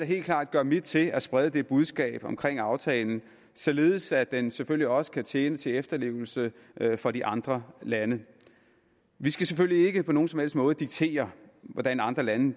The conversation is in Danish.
helt klart gøre mit til at sprede det budskab omkring aftalen således at den selvfølgelig også kan tjene til efterlevelse for de andre lande vi skal selvfølgelig ikke på nogen som helst måde diktere hvordan andre lande